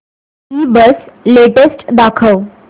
ईबझ लेटेस्ट दाखव